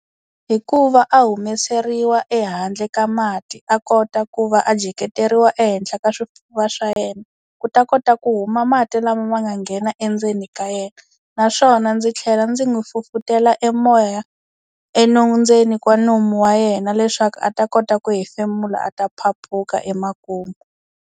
Hikuva a humeseriwa ehandle ka mati a kota ku va a jeketeriwa ehenhla ka swifuwo swa yena ku ta kota ku huma mati lama ma nga nghena endzeni ka yena naswona ndzi tlhela ndzi n'wi fufutela e moya ndzeni ka nomu wa yena leswaku a ta kota ku hefemula a ta phaphuka emakumu.